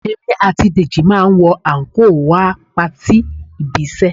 Èmi àti Dèjì máa wọ àńkò wá patí ibi-iṣẹ́